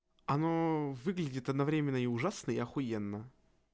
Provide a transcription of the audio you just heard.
оно выглядит одновременно и ужасно и ахуенно